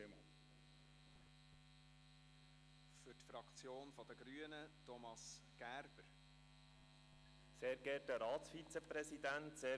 Die Grünliberalen lehnen sowohl Postulat als auch Motion ab.